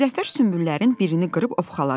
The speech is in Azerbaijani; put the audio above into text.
Müzəffər sümbüllərin birini qırıb ovxaladı.